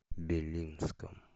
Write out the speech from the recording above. белинском